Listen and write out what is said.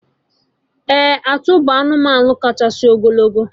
Ee! Atụ bụ anụmanụ kachasị ogologo